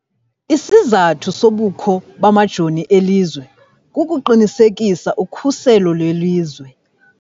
Isizathu sobukho bamajoni elizwe kukuqinisekisa ukhuselo lwelizwe.